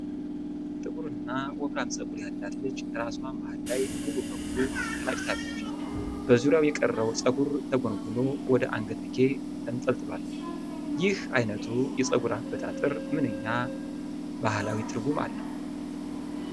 ጥቁርና ወፍራም ፀጉር ያላት ልጅ ራሷ መሃል ላይ ሙሉ በሙሉ ተላጭታለች። በዙሪያው የቀረው ፀጉር ተጎንጉኖ ወደ አንገትጌ ተንጠልጥሏል። ይህ ዓይነቱ የፀጉር አበጣጠር ምንኛ ባህላዊ ትርጉም አለው?